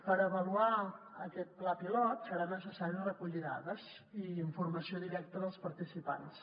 per avaluar aquest pla pilot serà necessari recollir dades i informació directa dels participants